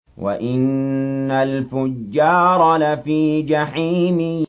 وَإِنَّ الْفُجَّارَ لَفِي جَحِيمٍ